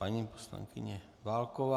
Paní poslankyně Válková.